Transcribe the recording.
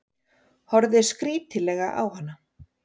Horfði skrítilega á hana.